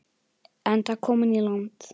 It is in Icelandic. Enda kominn í land.